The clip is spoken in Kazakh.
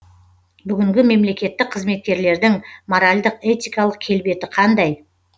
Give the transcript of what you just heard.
бүгінгі мемлекеттік қызметкерлердің моральдық этикалық келбеті қандай